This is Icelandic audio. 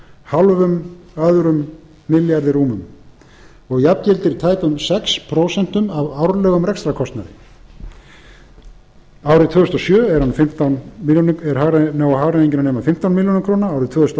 hálfum öðrum milljarði og jafngildir tæpum sex prósent af árlegum rekstrarkostnaði vegna þessa lækkar hinn reiknaði kostnaður við að uppfylla þjónustusamninginn tvö þúsund